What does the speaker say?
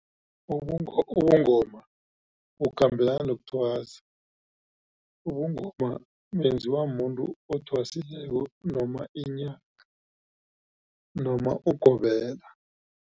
Ubungoma bukhambelana nokuthwasa ubungoma benziwa mumuntu othwasileko noma inyanga noma ugobela.